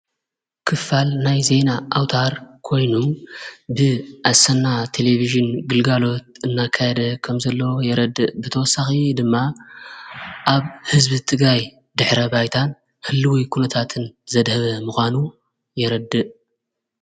ክፋል ናይ ዘይና ኣውታር ኮይኑ ብ ኣሠና ቴሌብሽን ግልጋሎት እናካይደ ከምዘለዎ የረድእ ብተወሳኺ ድማ ኣብ ሕዝቢ ትጋይ ድኅረ ባይታን ህሊ ወይ ኲነታትን ዘድሀበ ምዃኑ የረድእ።